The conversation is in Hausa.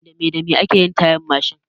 Dame dame ake yin tayan Mashin?